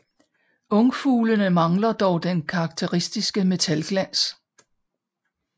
Ungfuglene mangler dog den karakteristiske metalglans